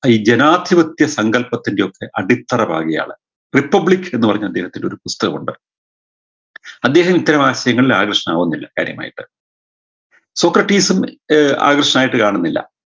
ഈ ജനാധിപത്യ സങ്കല്പത്തിൻറെയൊക്കെ അടിത്തറ പാകിയ ആള് republic എന്ന് പറഞ്ഞ് അദ്ദേഹത്തിന് ഒരു പുസ്തകമുണ്ട്‌ അദ്ദേഹം ഇത്തരം വാസനയിൽ ആകൃഷ്ടനാവുന്നില്ല കാര്യമായിട്ട് സോക്രടീസും ഏർ ആകൃഷ്ടനായിട്ട് കാണുന്നില്ല